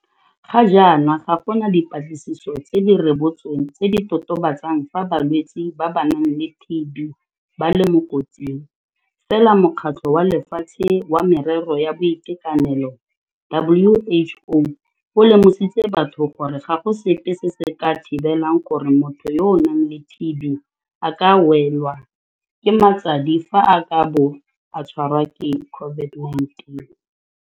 Ga jaana ga gona dipatlisiso tse di rebotsweng tse di totobatsang fa balwetse ba ba nang le TB ba le mo kotsing, fela Mokgatlho wa Lefatshe wa Merero ya Boitekanelo WHO o lemositse batho gore ga go sepe se se ka thibelang gore motho yo a nang le TB a ka welwa ke matsadi fa a ka bo a tshwarwa ke COVID-19.